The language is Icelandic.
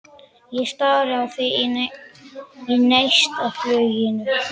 Ég stari á þig í neistafluginu.